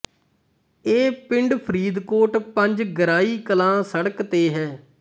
ਇਹ ਪਿੰਡ ਫ਼ਰੀਦਕੋਟ ਪੰਜ ਗਰਾਈ ਕਲਾਂ ਸੜਕ ਤੇ ਹੈ